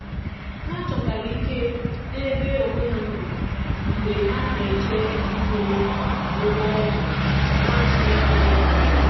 Ha chọtara ike n’ebe onwe ha nọ mgbe ha na-eche ihu ụgwọ ọgwụ na-atụghị anya ya.